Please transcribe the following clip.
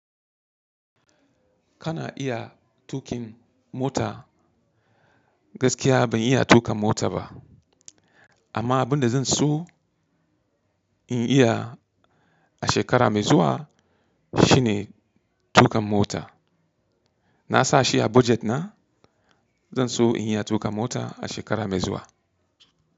Kana iya tuƙin mota? Gaskiya ban iya tuƙa mota ba, amma abin da zan so in iya a shekara mai zuwa shine tuƙa mota. Na sa shi a budget na. Zan so in iya tuƙa mota a shekara mai zuwa.